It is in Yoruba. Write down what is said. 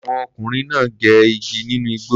Àwọn ọkùnrin náà gé igi nínú igbó.